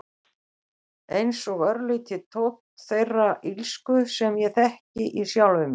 Einsog örlítill tónn þeirrar illsku sem ég þekki í sjálfri mér.